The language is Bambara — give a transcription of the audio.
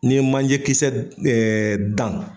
N'i ye manje kisɛ d dan